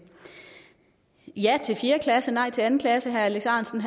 ja til fjerde klasse nej til anden klasse herre alex ahrendtsen